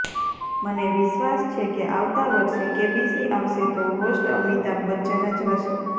મને વિશ્વાસ છે કે આવતા વર્ષે કેબીસી આવશે તો હોસ્ટ અમિતાભ બચ્ચન જ હશે